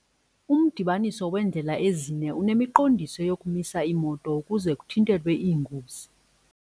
Umdibaniso weendlela ezine unemiqondiso yokumisa iimoto ukuze kuthintelwe iingozi.